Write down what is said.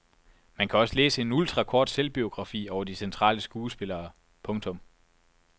Man kan også læse en ultrakort selvbiografi over de centrale skuespillere. punktum